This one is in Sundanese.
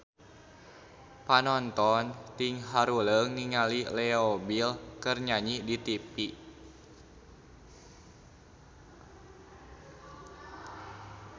Panonton ting haruleng ningali Leo Bill keur nyanyi di tipi